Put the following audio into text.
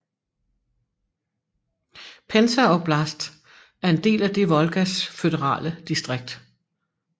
Pensa oblast er en del af det Volgas føderale distrikt